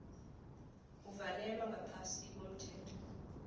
uvalelwa ngaphasi komthetho